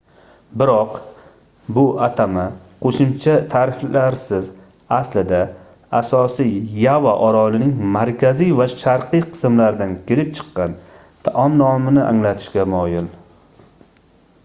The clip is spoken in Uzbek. biroq bu atama qoʻshimcha taʼriflarsiz aslida asosiy yava orolining markaziy va sharqiy qismlaridan kelib chiqqan taom nomini anglatishga moyil